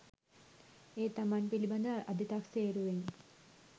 ඒ තමන් පිළිබඳ අධිතක්සේරුවෙනි